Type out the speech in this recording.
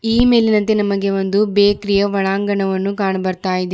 ಈ ಮೇಲಿನಂತೆ ನಮಗೆ ಒಂದು ಬೇಕರಿಯ ಒಳಾಂಗಣ ಕಾಣು ಬರುತ್ತಿದೆ.